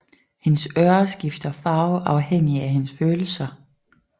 Hendes ører skifter farve afhængig af hendes følelser